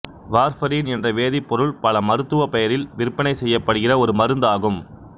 warfarin என்ற வேதிப்பொருள் பல மருத்துவ பெயரில் விற்பனை செய்யப்படுகிற ஒரு மருந்து ஆகும்